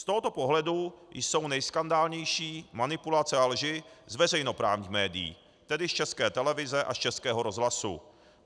Z tohoto pohledu jsou nejskandálnější manipulace a lži z veřejnoprávních médií, tedy z České televize a z Českého rozhlasu.